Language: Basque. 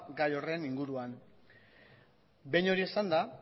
gai horren inguruan behin hori esanda